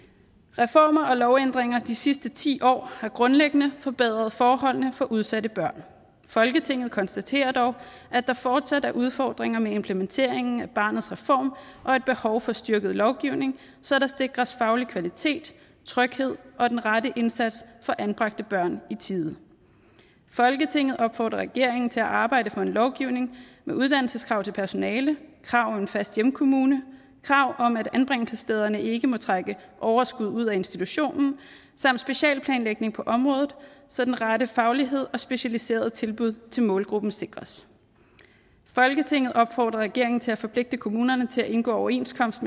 reformer og lovændringer de sidste ti år har grundlæggende forbedret forholdene for udsatte børn folketinget konstaterer dog at der fortsat er udfordringer med implementeringen af barnets reform og et behov for styrket lovgivning så der sikres faglig kvalitet tryghed og den rette indsats for anbragte børn i tide folketinget opfordrer regeringen til at arbejde for en lovgivning med uddannelseskrav til personale krav om en fast hjemkommune krav om at anbringelsessteder ikke må trække overskud ud af institutionen samt specialplanlægning på området så den rette faglighed og specialiserede tilbud til målgruppen sikres folketinget opfordrer regeringen til at forpligte kommunerne til at indgå overenskomst